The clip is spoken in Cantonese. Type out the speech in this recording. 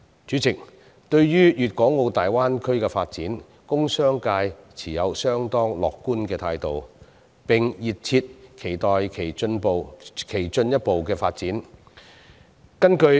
主席，對於大灣區的發展，工商界持有相當樂觀的態度，並熱切期待其進一步發展。